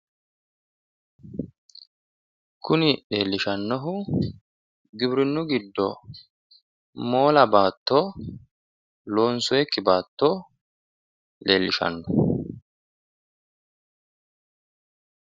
Kuni leelishanohu Giwirinnu giddo loosatinokkitu fano woyi moola base woyi baatto nootta leelishano